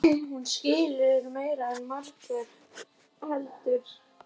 Hún skilur meira en margur heldur.